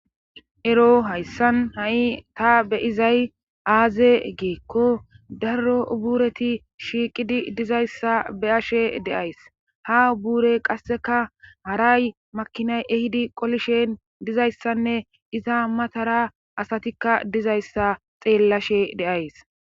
ero hayssan ha7i ta be izay aaze geekko darro ubuureti shiiqidi dizayssa beyashe deays ha ubuurey qasseka haray makinay ehidi qolishen dizayssanne iza matara asatikka dizayssa xeellashe deays